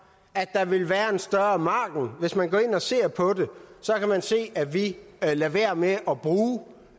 at der vil være en større margen hvis man går ind og ser på det kan man se at vi lader være med